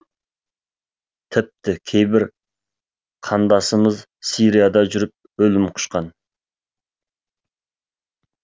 тіпті кейбір қандасымыз сирияда жүріп өлім құшқан